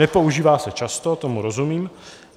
Nepoužívá se často, tomu rozumím.